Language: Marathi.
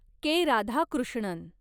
के. राधाकृष्णन